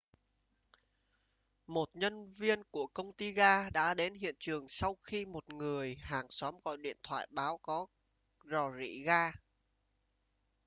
một nhân viên của công ty gas đã đến hiện trường sau khi một người hàng xóm gọi điện thoại báo có rò rỉ gas